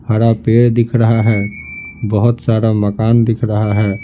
हरा पेड़ दिख रहा है बहुत सारा मकान दिख रहा है।